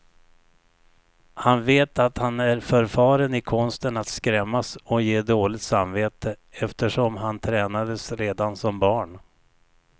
Han vet att han är förfaren i konsten att skrämmas och ge dåligt samvete, eftersom han tränades redan som barn.